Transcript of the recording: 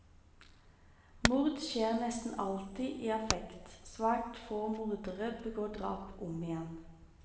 Mord skjer nesten alltid i affekt, svært få mordere begår drap om igjen.